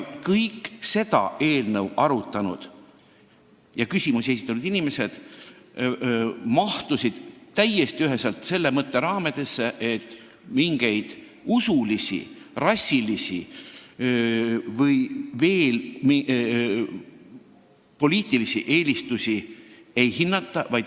Kõik seda eelnõu arutanud ja küsimusi esitanud inimesed jagasid täiesti üheselt arusaama, et mingeid usulisi, rassilisi ega poliitilisi eelistusi ei hinnata.